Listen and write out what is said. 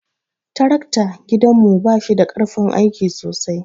Tarakta gidan mu bashida karfin aiki sosai.